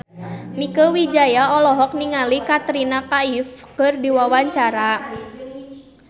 Mieke Wijaya olohok ningali Katrina Kaif keur diwawancara